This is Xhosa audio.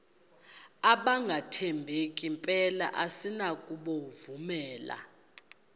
abangathembeki mpela asinakubovumela